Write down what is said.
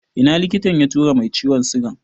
Ina likitan ya tura mai ciwon sigan?